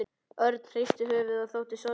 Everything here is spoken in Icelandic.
Örn hristi höfuðið og þóttist sorgmæddur.